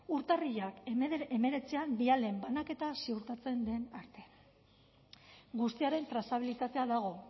urtarrilaren hemeretzian bialen banaketa ziurtatzen den arte guztiaren trazabilitatea dago